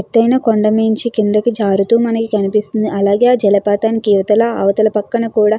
ఎత్తైన కొండమించి కిందకి జారుతూ మనకి కనిపిస్తుంది. అలాగే జలపాతం కీ ఇవతల అవతల పక్కన కూడా --